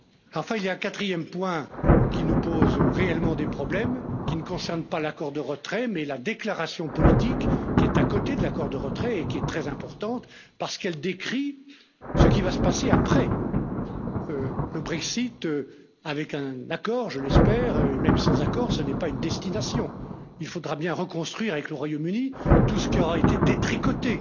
Enfin, il y a un quatrième point qui nous pose réellement des problèmes, qui ne concerne pas l'accord de retrait mais la déclaration politique, qui est à côté de l'accord de retrait et qui est très importante, parce qu'elle décrit ce qui va se passer après le Brexit, avec un accord, je l'espère, et même sans accord, ce n'est pas une destination, il faudra bien reconstruire avec le Royaume Uni, tout ce qui aura été détricoté